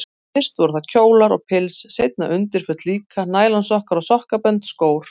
Fyrst voru það kjólar og pils, seinna undirföt líka, nælonsokkar og sokkabönd, skór.